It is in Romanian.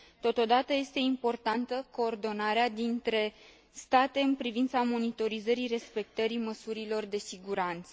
Totodată, este importantă coordonarea dintre state în privința monitorizării respectării măsurilor de siguranță.